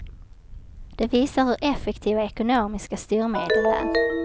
Det visar hur effektiva ekonomiska styrmedel är.